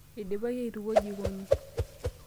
Eidipaki aitukuo jikoni.